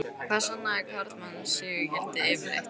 Hvað sannaði karlmannsígildið yfirleitt, eða þessi